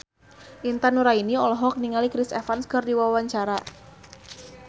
Intan Nuraini olohok ningali Chris Evans keur diwawancara